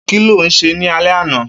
Kiló sé ni àlẹ̀ ànà?